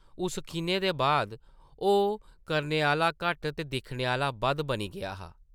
उस खिनै दे बाद ओह् करने आह्ला घट्ट ते दिक्खने आह्ला बद्ध बनी गेआ हा ।